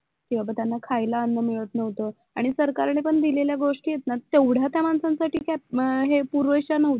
किंवा त्यांना खायला अण्णा मिळत नव्हतं आणि सरकारने पण दिलेल्या गोष्टी आहेत ना तेवढ्या त्या माणसांसाठी काय हे पुरेश्या नव्हत्या